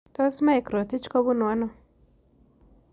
Tos' mike rotich ko bunu ano